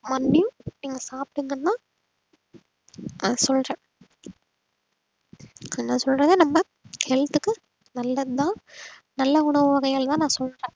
நீங்க சாப்பிட்டீங்கன்னா நான் சொல்றேன் நான் சொல்றது நம்ம health க்கு நல்லதுதான் நல்ல உணவு வகைகள்தான் நான் சொல்றேன்